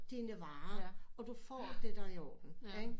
Dine varer og du får det der er i orden ikke